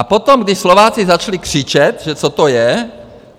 A potom, když Slováci začali křičet, že co to je,